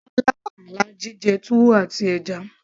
ó lá àlá jíjẹ túwó àti ẹja